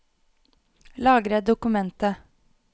Lagre dokumentet